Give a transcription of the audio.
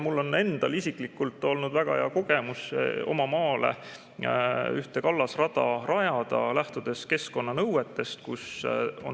Mul on endal isiklikult olnud väga hea kogemus oma maale ühte kallasrada rajada, lähtudes keskkonnanõuetest.